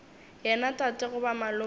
yena tate goba malome wa